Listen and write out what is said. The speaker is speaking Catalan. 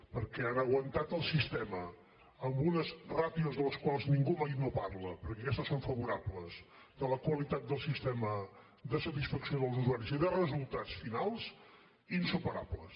perquè han aguantat el sistema amb unes ràtios de les quals ningú mai no parla perquè aquestes són favorables de la qualitat del sistema de satisfacció dels usuaris i de resultats finals insuperables